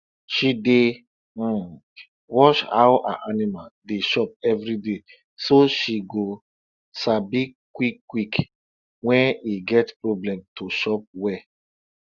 she dey um watch how her animal dey chop everyday so she go sabi quick quick wen e get problem to chop well